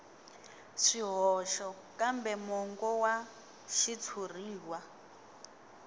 swihoxo kambe mongo wa xitshuriwa